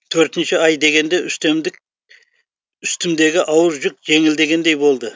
төртінші ай дегенде үстімдегі ауыр жүк жеңілдегендей болды